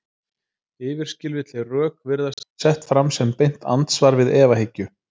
Yfirskilvitleg rök virðast því sett fram sem beint andsvar við efahyggju.